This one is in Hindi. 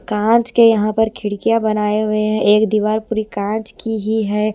कांच के यहाँ पर खिड़कियाँ बनाए हुए हैं एक दीवार पूरी कांच की ही है।